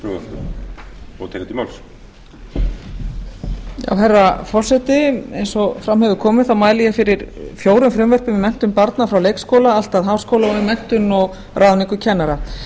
frá byrjun klárar ekki hér herra forseti eins og fram hefur komið mæli ég fyrir fjórum frumvörpum um menntun barna frá leikskóla allt að háskóla og um menntun og ráðningu kennara